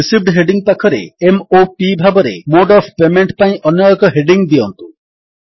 received heading ପାଖରେ m o P ଭାବରେ mode of payment ପାଇଁ ଅନ୍ୟ ଏକ ହେଡିଙ୍ଗ୍ ଦିଅନ୍ତୁ